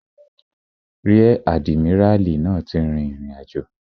Ríẹ̀ àdìmíràlí náà ti rìn ìrìnàjò